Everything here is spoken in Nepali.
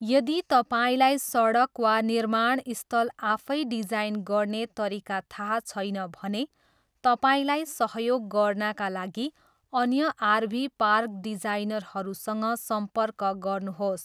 यदि तपाईँलाई सडक वा निर्माणस्थल आफै डिजाइन गर्ने तरिका थाहा छैन भने तपाईँलाई सहयोग गर्नाका लागि अन्य आरभी पार्क डिजाइनरहरूसँग सम्पर्क गर्नुहोस्।